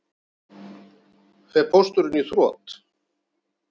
Þorbjörn: Fer Pósturinn í þrot?